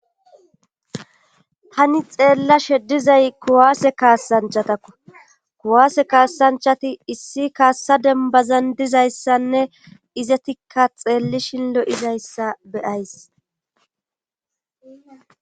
Tani xeella sheddizay kuwaase kaasanchatakko kuwaase kaasanchati issi kaassa dembazan dizayssanne izetikka xeellishin lo'izayssa beyays